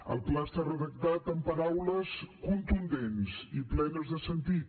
el pla està redactat amb paraules contundents i plenes de sentit